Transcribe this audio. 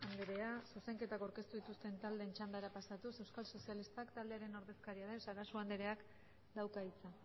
andrea zuzenketa aurkeztu dituzten taldeen txandara pasatuz euskal sozialistak taldearen ordezkaria sarasua andreak dauka hitza